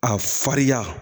A farinya